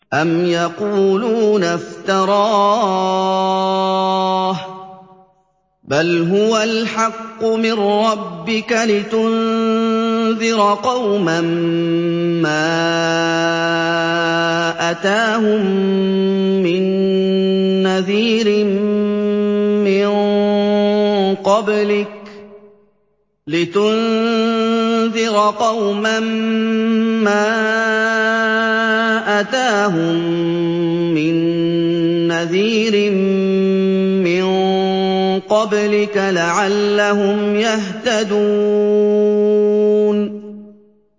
أَمْ يَقُولُونَ افْتَرَاهُ ۚ بَلْ هُوَ الْحَقُّ مِن رَّبِّكَ لِتُنذِرَ قَوْمًا مَّا أَتَاهُم مِّن نَّذِيرٍ مِّن قَبْلِكَ لَعَلَّهُمْ يَهْتَدُونَ